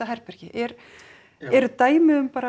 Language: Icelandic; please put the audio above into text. herbergi eru eru dæmi um